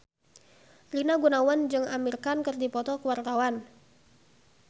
Rina Gunawan jeung Amir Khan keur dipoto ku wartawan